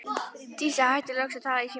Dísa hættir loks að tala í símann.